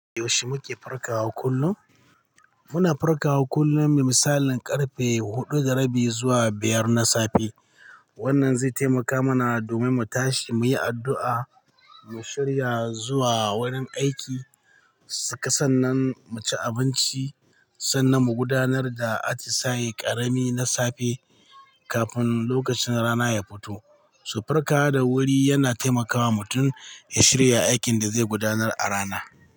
Yaushe muke farkawa kullum? Muna farkawa kullum, misalin karfe huɗu da rabi zuwa biyar na safe. Wannan zai taimaka mana domin mu tashi, mu yi addu'a, mu shirya zuwa wurin aiki, sannan mu ci abinci, sannan mu gudanar da atisaye ƙarami na safe kafin lokacin rana ya fito. Su farkawa da wuri yana taimakawa mutum ya shirya aikin da zai gudanar a rana.